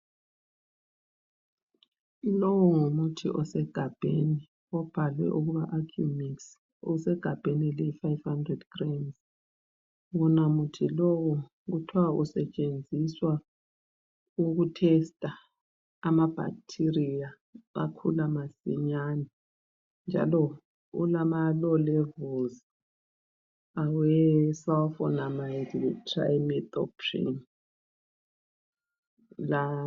Lowo ngumuthi osegabheni obhalwe ukuba Accumix. Usegabheni eliyi five hundred grams. Wona muthi lowu kuthwa usetshenziswa ukutester amabacteria akhula masinyane njalo ulamalow levels awesulfonimade letrimethoprim.